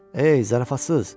Ey, zarafatsız!